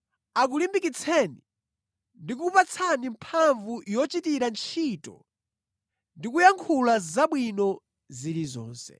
akulimbikitseni ndi kukupatsani mphamvu yogwirira ntchito ndi kuyankhula zabwino zilizonse.